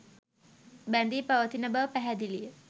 බැඳී පවතින බව පැහැදිලිය